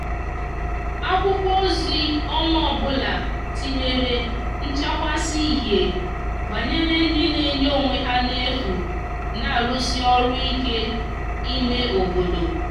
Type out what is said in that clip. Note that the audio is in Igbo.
akwụkwo ozi onwa ọbụla tinyere nchakwasi ihie gbanyere ndi n'enye onwe ha n'efu n'arusi ọru ike ime obodo